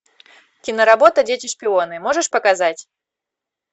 киноработа дети шпионы можешь показать